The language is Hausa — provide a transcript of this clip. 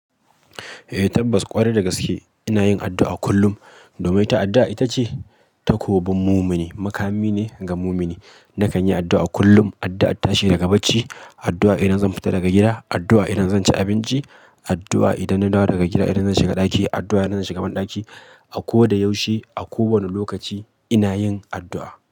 Eh tabbas ƙwarai da gaske ina yin addu'a kullum. Domin ta addu'a ita ce takobin mumini, makami ne ga mumini. Nakan yi addu'a kullum, addu'ar tashi daga bacci, addu'a idan zan fita daga gida, addu'a idan zan ci abinci, addu'a idan na dawo daga gida, idan zan shiga ɗaki, addu'a idan zan shiga bandaki. A koda yaushe, a kowane lokaci ina yin addu'a.